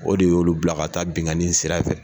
O de y'olu bila ka taa binkani sira fɛ.